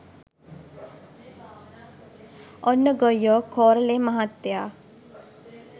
ඔන්න ගොයියෝ කෝරළේ මහත්තය